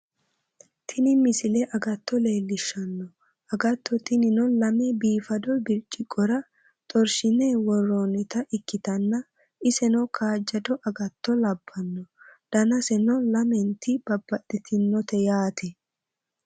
tini misile agatto leellishshanno agatto tinino lame biifado birciqqora xorshine worroonita ikkitanna iseno kaajjado agatto labbanno danaseno lamenti babbaxxitinote yaate